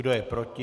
Kdo je proti?